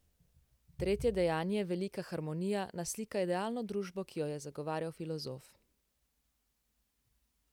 Tretje dejanje, Velika harmonija, naslika idealno družbo, ki jo je zagovarjal filozof.